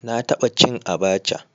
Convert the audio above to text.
Na taba cin Abacha